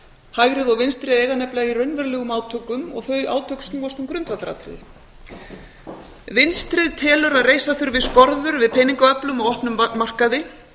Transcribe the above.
hægrið og vinstrið eiga nefnilega í raunverulegum átökum og þau átök snúast um grundvallaratriði vinstrið telur að reisa þurfi skorður við peningaöflum á opnum markaði